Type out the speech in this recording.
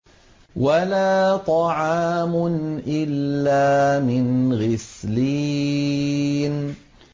وَلَا طَعَامٌ إِلَّا مِنْ غِسْلِينٍ